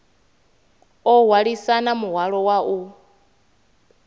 o hwalisana muhwalo wa u